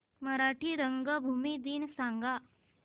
मराठी रंगभूमी दिन सांगा